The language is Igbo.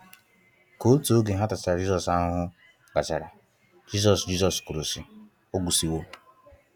Ka otụ oge ha tachara Jisos ahụhụ gachara, Jisos Jisos kwụrụ si, “ọ gwusi wo”